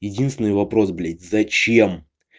единственный вопрос блядь зачем